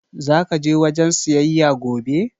Zaka je wajen siyayya gobe?